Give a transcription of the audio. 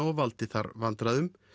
og valdi þar vandræðum